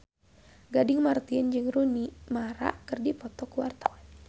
Gading Marten jeung Rooney Mara keur dipoto ku wartawan